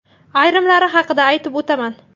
Ayrimlari haqida aytib o‘taman.